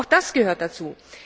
Auch das gehört dazu.